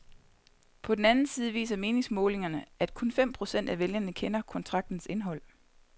På den anden side viser meningsmålingerne, at kun fem procent af vælgerne kender kontraktens indhold.